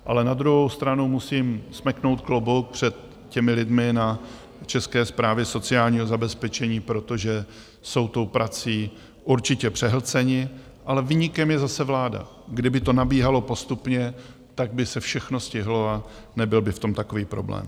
Ale na druhou stranu musím smeknout klobouk před těmi lidmi na České správě sociálního zabezpečení, protože jsou tou prací určitě přehlceni, ale viníkem je zase vláda - kdyby to nabíhalo postupně, tak by se všechno stihlo a nebyl by v tom takový problém.